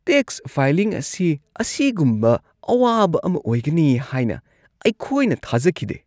Tax filing ꯑꯁꯤ ꯑꯁꯤꯒꯨꯝꯕ ꯑꯋꯥꯕ ꯑꯃ ꯑꯣꯏꯒꯅꯤ ꯍꯥꯏꯅ ꯑꯩꯈꯣꯏꯅ ꯊꯥꯖꯈꯤꯗꯦ!